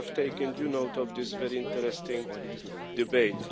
I have taken due note of this very interesting debate.